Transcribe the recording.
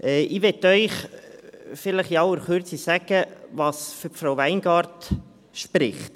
Ich möchte Ihnen in aller Kürze sagen, was für Frau Weingart spricht.